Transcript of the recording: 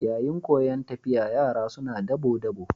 Yayin koyan tafiya, yara suna dabo-dabo.